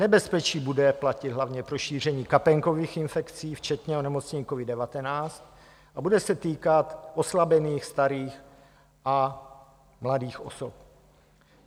Nebezpečí bude platit hlavně pro šíření kapénkových infekcí včetně onemocnění covid-19 a bude se týkat oslabených starých a mladých osob.